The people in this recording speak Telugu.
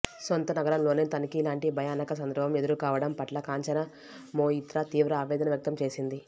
సొంత నగరంలోనే తనకిలాంటి భయానక సందర్భం ఎదురుకావడం పట్ల కాంచన మొయిత్రా తీవ్ర ఆవేదన వ్యక్తం చేసింది